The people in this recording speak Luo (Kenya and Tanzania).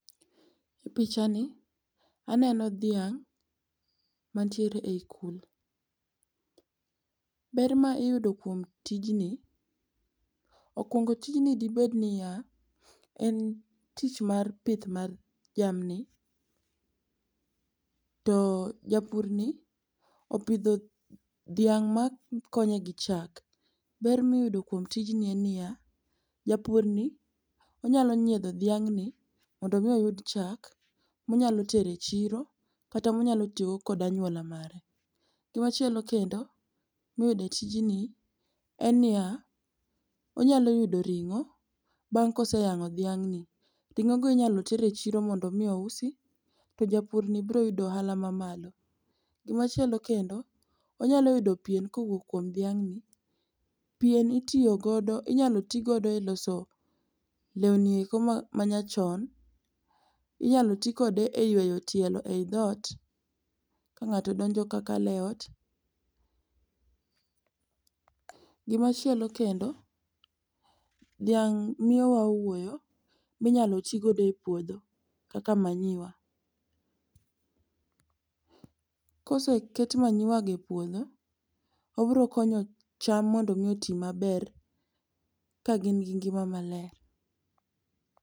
E pichani aneno dhiang' mantiere e i kul. Ber ma iyudo kuom tijni, okuongo tijni dibed niya, en tich mar pith mar jamni to japurni opidho dhiang' makonye gi chak. Ber miyudo kuom tijni en niya, japurni onyalo nyiedho dhiang'ni mondo omi oyud chak monyalo tero e chiro kata monyalo tiyogo kod anyuola mare. Gimachielo kendo miyudo e tijni en niya, onyalo yudo ring'o bang' koseyang'o dhiang'ni ring'ogo inyalo ter e chiro mondo omi ousi to japurni broyudo ohala mamalo. Gimachielo kendo, onyalo yudo pien kowuok kuom dhiang'ni. Pien inyalo tigodo e loso lewni eko manyachon, inyalo ti kode e yueyo tielo e i dhot ka ng'ato donjo ka kalo e ot. Gimachielo kendo, dhiang' miyowa owuoyo minyalo tigodo e puodho kaka manyiwa. Koseket manyiwagi e puodho, obirokonyo cham mondo mi oti maber kagin gi ngima maler.